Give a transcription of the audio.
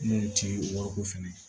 N'o ti wariko fɛnɛ ye